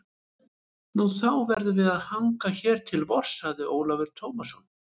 Nú, þá verðum við að hanga hér til vors, sagði Ólafur Tómasson.